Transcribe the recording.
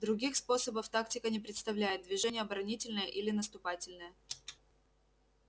других способов тактика не представляет движение оборонительное или наступательное